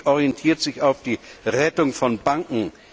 Die Politik orientiert sich auf die Rettung von Banken.